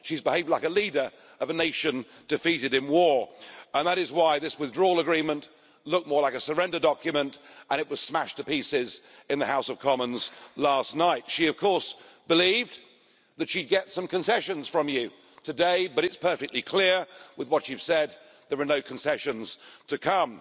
She has behaved like a leader of a nation defeated in war, and that is why this Withdrawal Agreement looked more like a surrender document and it was smashed to pieces in the House of Commons last night. She of course believed that she'd get some concessions from you today, but it's perfectly clear from what you've said that there are no concessions to come.